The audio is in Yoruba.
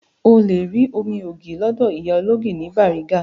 O lè rí omi ògì lọ́dọ̀ ìyá ológì ní Bariga